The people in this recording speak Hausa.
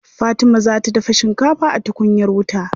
Fatima za ta dafa shikafa a tukunyar wuta.